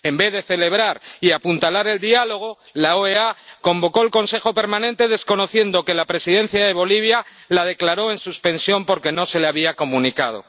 En vez de celebrar y apuntalar el diálogo, la OEA convocó al Consejo Permanente, desconociendo que la presidencia de Bolivia suspendió la convocatoria porque no se le había comunicado.